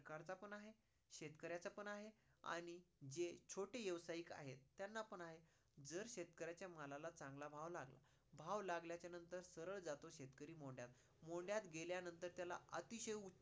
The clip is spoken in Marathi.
शेतकऱ्याचा पण आहे आणि जे छोटे व्यावसायिक आहे त्यांना पण आहे. जर शेतकऱ्याच्या मालाला चांगला भाव लागला, भाव लागल्या च्या नंतर सरळ जातो शेतकरी मोंडयात, मोंडयात गेल्यानंतर त्याला अतिशय